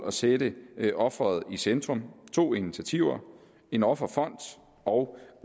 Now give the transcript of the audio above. at sætte offeret i centrum to initiativer en offerfond og